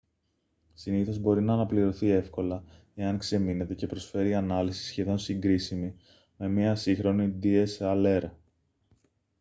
συνήθως μπορεί να αναπληρωθεί εύκολα εάν ξεμείνετε και προσφέρει ανάλυση σχεδόν συγκρίσιμη με μία σύγχρονη dslr